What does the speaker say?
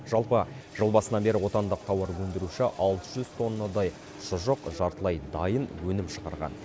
жалпы жыл басынан бері отандық тауарөндіруші алты жүз тоннадай шұжық жартылай дайын өнім шығарған